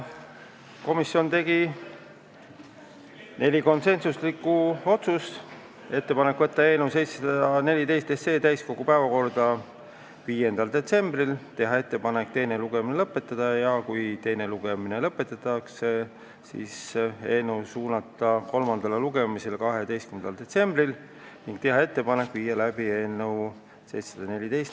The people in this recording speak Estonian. Komisjon tegi neli konsensuslikku otsust: ettepanek võtta eelnõu 714 täiskogu päevakorda 5. detsembriks, teha ettepanek teine lugemine lõpetada ja kui teine lugemine lõpetatakse, siis eelnõu suunata kolmandale lugemisele 12. detsembriks ning teha ettepanek viia läbi lõpphääletus.